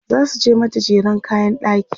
zasu mata jeren kayan ɗaki